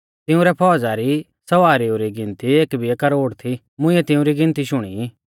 तिंउरै फौज़ा रै सवारीऊ री गिनती एक बिऐ करोड़ थी मुंइऐ तिउंरी गिनती शुणी